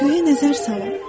Göyə nəzər salın